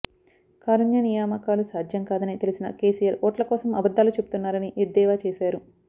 కారుణ్య నియామకాలు సాధ్యం కాదని తెలిసినా కేసిఆర్ ఓట్ల కోసం అబద్దాలు చెబుతున్నారని ఎద్దేవా చేశారు